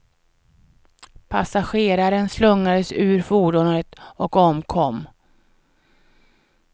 Passageraren slungades ur fordonet och omkom.